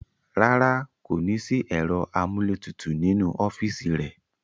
Rárá, kò ní sí ẹ̀rọ amúlétutù nínú ọ́fìsì rẹ̀